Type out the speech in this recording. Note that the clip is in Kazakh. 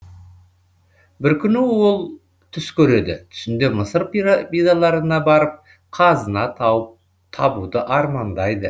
бір күні ол түс көреді түсінде мысыр пирамидаларына барып қазына табуды армандайды